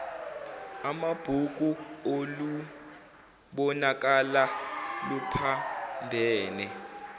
amabhuku olubonakala luphambene